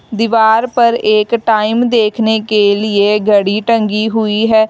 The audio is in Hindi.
दीवार पर एक टाइम देखने के लिए घड़ी टंगी हुई है।